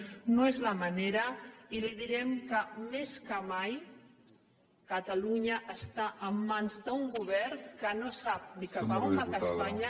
que aquesta no és la ma·nera i li direm que més que mai catalunya està en mans d’un govern que no sap ni cap on va espanya